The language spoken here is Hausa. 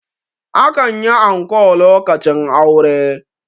akan yi anko lokacin aure